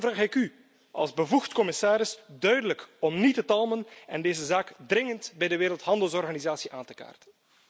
Daarom vraag ik u als bevoegd commissaris duidelijk om niet te talmen en deze zaak met spoed bij de Wereldhandelsorganisatie aan te kaarten.